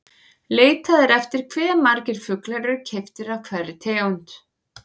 Leitað er eftir hve margir fuglar eru keyptir af hverri tegund.